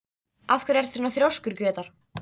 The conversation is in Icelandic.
Af hverju ertu svona þrjóskur, Grétar?